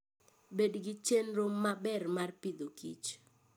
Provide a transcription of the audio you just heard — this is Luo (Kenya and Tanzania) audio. Bed gi chenro maber mar Agriculture and Food.